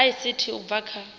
dza ict u bva kha